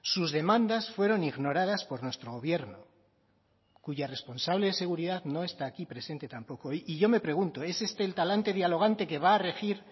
sus demandas fueron ignoradas por nuestro gobierno cuya responsable de seguridad no está aquí presente tampoco hoy y yo me pregunto es este el talante dialogante que va a regir